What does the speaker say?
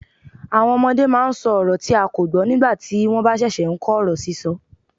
Àwọn ọmọdé máa ń sọ ọrọ tí a kò gbọ́ nígbà tí wọ́n bá ṣẹ̀ṣẹ̀ ń kọ́ ọ̀rọ̀ sísọ.